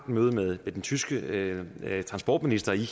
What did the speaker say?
møde med den tyske transportminister i